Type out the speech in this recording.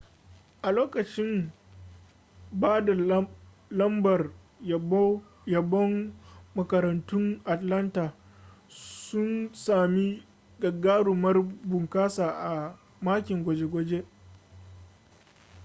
a lokacin ba da lambar yabon makarantun atlanta sun sami gagarumar bunƙasa a makin gwaje-gwaje